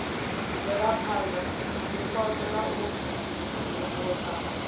bvelaphana zwipotso na u imvumvusa